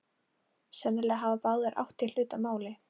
Sennilega hafa báðir átt hér hlut að máli.